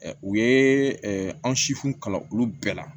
U ye anw sifuw kalan olu bɛɛ la